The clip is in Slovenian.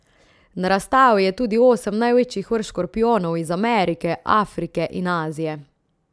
Na razstavi je tudi osem največjih vrst škorpijonov iz Amerike, Afrike in Azije.